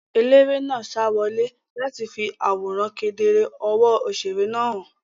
Eléré náà sa wọlé láti fi àwòrán kedere ọwọ́ òṣèré náà hàn.